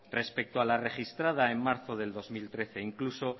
respecto a la registrada en marzo de dos mil trece incluso